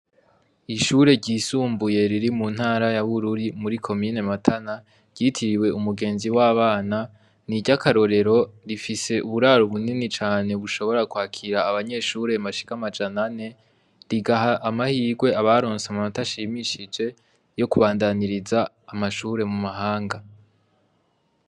Ishure ryisumbuye riri mu Ntara ya Bururi, muri Komine Matana, ryitiriwe Umugenzi w'Abana n'iryakarorero. Rifise uburaro bunini cane bushobora kwakira abanyeshure bashika amajana ane; rigaha amahirwe abaronse amanota ashimishije, yo kubandaniriza amashure mu mahanga.